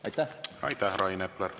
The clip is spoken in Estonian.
Aitäh!